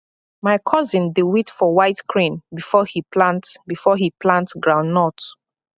my cousin dey wait for white crane before he plant before he plant groundnut